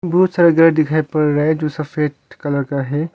बहुत सारा गर दिखाई पड़ रा है जो सफेद कलर का है।